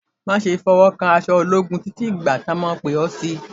Má ṣe fi ọwọ́ kan aṣọ ológun títí dìgbà tí wọn yoh pè ọ́ sí i